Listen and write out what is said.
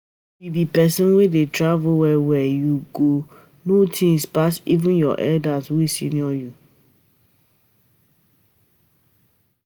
If you be pesin wey dey travel well well, u go know things pas even your elders wey senior you